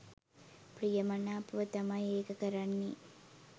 ප්‍රිය මනාපව තමයි ඒක කරන්නෙ.